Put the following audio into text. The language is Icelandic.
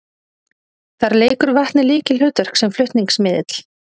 Þar leikur vatnið lykilhlutverk sem flutningsmiðill.